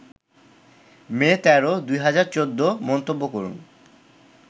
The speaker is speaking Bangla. মে ১৩, ২০১৪মন্তব্য করুন